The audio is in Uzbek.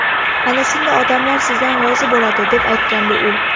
Ana shunda odamlar sizdan rozi bo‘ladi”, deb aytgan u.